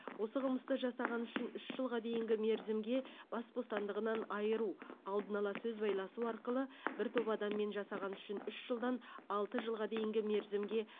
осы қылмысты жасағаны үшін үш жылға дейінгі мерзімге бас бостандығынан айыру алдын ала сөз байласу арқылы бір топ адаммен жасағаны үшін үш жылдан алты жылға дейінгі мерзімге